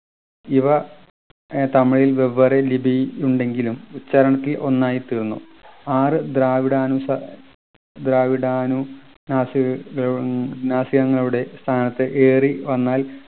ഇവ ഏർ തമിഴിൽ വെവേറെ ലിപി ഉണ്ടെങ്കിലും ഉച്ചാരണത്തിൽ ഒന്നായി തീർന്നു ആറു ദ്രാവഡാനുസ ദ്രാവഡാനു നാസി നാസികകളു നാസികങ്ങളുടെ സ്ഥാനത്ത് ഏറി വന്നാൽ